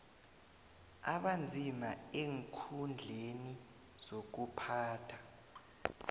abanzima eenkhundleni zokuphatha